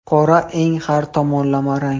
Qora eng har tomonlama rang.